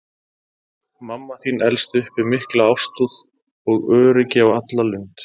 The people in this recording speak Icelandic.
Mamma þín elst upp við mikla ástúð og öryggi á alla lund.